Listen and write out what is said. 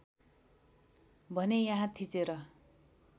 भने यहाँ थिचेर